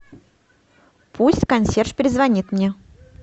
пусть консьерж перезвонит мне